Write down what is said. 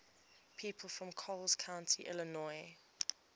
people from coles county illinois